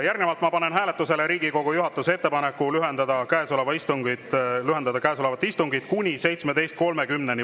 Järgnevalt ma panen hääletusele Riigikogu juhatuse ettepaneku lühendada käesolevat istungit kuni 17.30-ni.